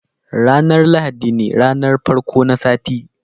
ranar lahadi ne ranar farko na sati